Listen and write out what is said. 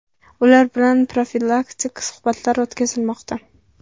Ular bilan profilaktik suhbatlar o‘tkazilmoqda.